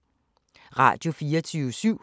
Radio24syv